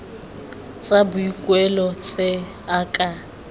tsa boikuelo tse a ka